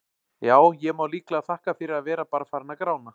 Já, ég má líklega þakka fyrir að vera bara farinn að grána.